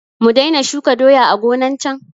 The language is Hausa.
Mu daina shuka doya a gonan can?